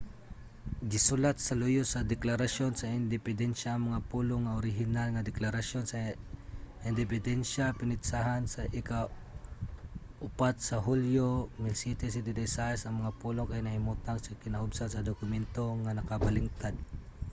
gisulat sa luyo sa deklarasyon sa independensya ang mga pulong nga orihinal nga deklarasyon sa independensya pinetsahan sa ika-4 sa hulyo 1776". ang mga pulong kay nahimutang sa kinaubsan sa dokumento nga nakabaligtad